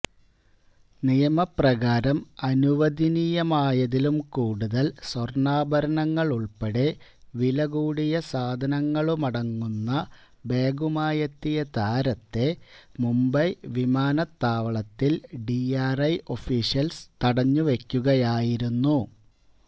നിയപ്രകാരം അനുവദനീയമായതിലും കൂടുതല് സ്വര്ണാഭരണങ്ങളുള്പ്പെടെ വിലകൂടിയ സാധനങ്ങളുമടങ്ങുന്ന ബാഗുമായെത്തിയ താരത്തെ മുംബൈ വിമാനത്താവളത്തില് ഡിആര്ഐ ഒഫീഷ്യല്സ് തടഞ്ഞു വയ്ക്കുകയായിരുന്നു